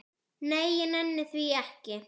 Nei, ég nenni því ekki